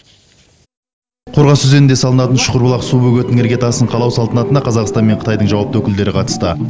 қорғас өзенінде салынатын шүкірбұлақ су бөгетінің іргетасын қалау салтанатына қазақстан мен қытайдың жауапты өкілдері қатысты